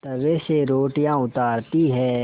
तवे से रोटियाँ उतारती हैं